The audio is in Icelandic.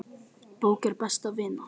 Bók er best vina.